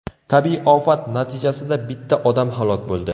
Tabiiy ofat natijasida bitta odam halok bo‘ldi.